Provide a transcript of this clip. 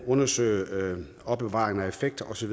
undersøge og opbevare effekter osv